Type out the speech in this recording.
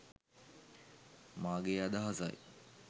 මාගේ අදහසයි